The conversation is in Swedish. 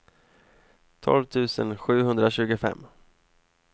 tolv tusen sjuhundratjugofem